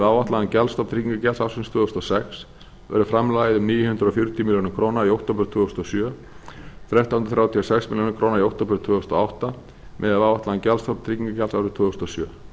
áætlaðan gjaldstofn tryggingagjalds ársins tvö þúsund og sex verður framlagið um níu hundruð fjörutíu milljónir króna í október tvö þúsund og sjö og þrettán hundruð þrjátíu og sex milljónir króna í október tvö þúsund og átta miðað við áætlaðan gjaldstofn tryggingagjalds árið tvö þúsund og sjö